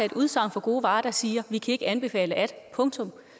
et udsagn for gode varer der siger at vi kan ikke anbefale at punktum